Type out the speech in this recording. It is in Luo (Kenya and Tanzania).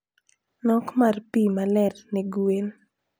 Nok mar pi maler ne gwen.